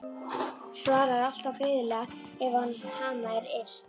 Svarar alltaf greiðlega ef á hana er yrt.